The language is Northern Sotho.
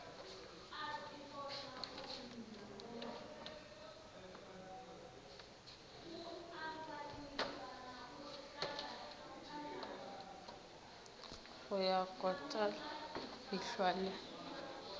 ya go kota dihlwa le